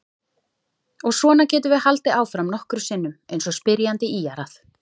Og svona getum við haldið áfram nokkrum sinnum eins og spyrjandi ýjar að.